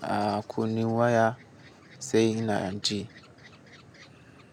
a kunne waya sai ina ji.